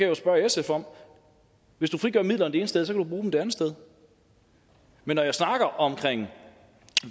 jo spørge sf om hvis du frigør midler det ene sted så kan du bruge dem det andet sted men når jeg snakker om